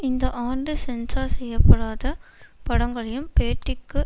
இந்த ஆண்டு சென்ஸார் செய்ய படாத படங்களையும் பேட்டிக்கு